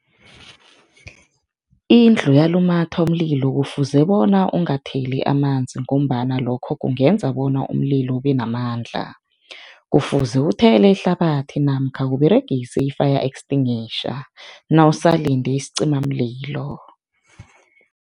Indlu yalumatha umlilo kufuze bona ungatheli amanzi ngombana lokho kungenza bona umlilo ubenamandla. Kufuze uthele ihlabathi namkha Uberegise i-fire extinguisher nawusalinde isicimamlilo.